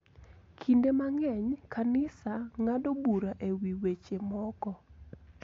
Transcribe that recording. Kinde mang�eny, kanisa ng�ado bura e wi weche moko